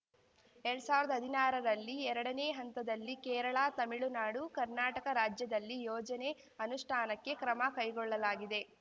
ಎರ್ಡ್ ಸಾವಿರ್ದಾ ಹದಿನಾರರಲ್ಲಿ ಎರಡನೇ ಹಂತದಲ್ಲಿ ಕೇರಳ ತಮಿಳುನಾಡು ಕರ್ನಾಟಕ ರಾಜ್ಯದಲ್ಲಿ ಯೋಜನೆ ಅನುಷ್ಠಾನಕ್ಕೆ ಕ್ರಮ ಕೈಗೊಳ್ಳಲಾಗಿದೆ